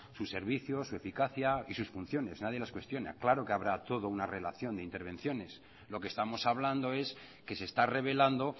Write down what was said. su servicio su eficacia y sus funciones nadie las cuestiona claro que habrá todo una relación de intervenciones lo que estamos hablando es que se está revelando